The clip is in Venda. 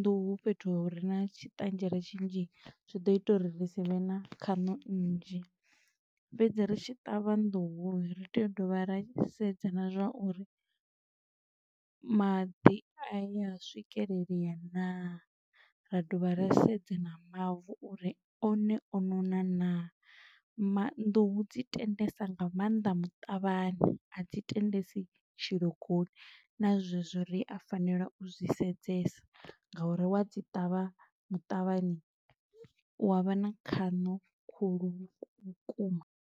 nḓuhu fhethu hu re na tshiṱanzhela shela tshinzhi, zwi ḓo ita uri ri si vhe na khaṋo nnzhi, fhedzi ri tshi ṱavha nḓuhu, ri tea u dovha ra sedza na zwa uri, maḓi a ya swikelelea naa, ra dovha ra sedza na mavu uri one o nona naa. Ma nnḓuhu dzi tendesa nga maanḓa muṱavhani, a dzi tendesi tshilogoni na zwezwo ri a fanela u zwi sedzesa, nga uri wa dzi ṱavha muṱavhani, u wa vha na khaṋo khulu vhukuma.